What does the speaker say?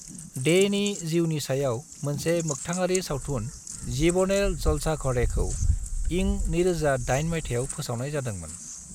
Danny जिउनि सायाव मोनसे मोखथाङारि सावथुन जीबनेर जलसाघ'रेखौ इं 2008 माइथायाव फोसावनाय जादोंमोन।